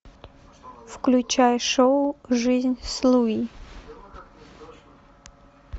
включай шоу жизнь с луи